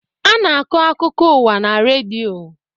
A na-akọ akụkọ ụwa na redio.